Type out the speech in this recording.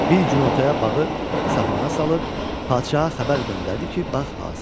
Bir gün ortaya bağı saxmaxana salıb padşaha xəbər göndərdi ki, bağ hazırdır.